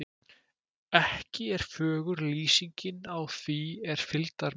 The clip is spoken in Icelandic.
Ekki er fögur lýsingin á því er fylgdarmenn